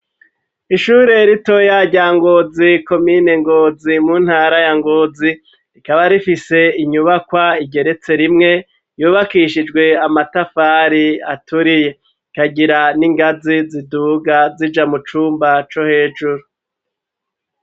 Ishure rito ya rya ngozi komine ngozi mu ntara ya ngozi rikaba rifise inyubakwa rigeretse rimwe yubakishijwe amatafari aturiye kagira n'ingazi ziduga zija mu cumba co hejuru.